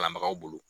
Kalanbagaw bolo